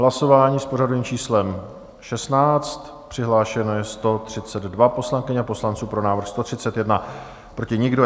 Hlasování s pořadovým číslem 16, přihlášeno je 132 poslankyň a poslanců, pro návrh 131, proti nikdo.